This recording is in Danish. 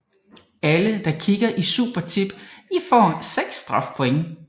Alle der kikker i Supertip I får 6 strafpoint